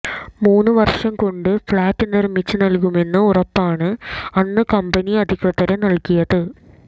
മൂന്നു വര്ഷം കൊണ്ട് ഫ്ളാറ്റ് നിര്മ്മിച്ച് നല്കുമെന്ന ഉറപ്പാണ് അന്ന് കമ്പനി അധികൃതര് നല്കിയത്